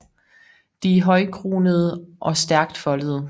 De er højkronede og stærkt foldede